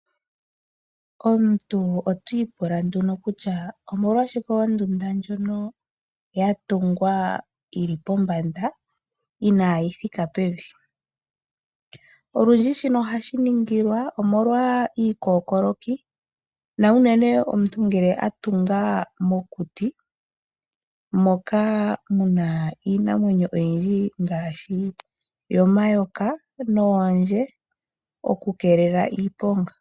Omuntu otiipula nduno kutya omolwashike ondunda ndjono yatungwa yili pombanda inayi thika pevi. Olundji shino ohashi ningilwa omolwa iikokoloki na unene ngele omuntu a tunga mokuti moka muna iinamwenyo oyindji ngaashi omayoka noondje oku keelela iiponga.